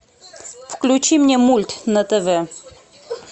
включи мне мульт на тв